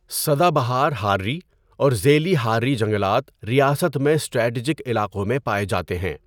سدا بہار حارّی اور ذیلی حارّی جنگلات ریاست میں اسٹریٹجک علاقوں میں پائے جاتے ہیں۔